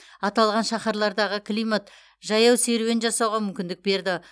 аталған шаһарлардағы климат жаяу серуен жасауға мүмкіндік берді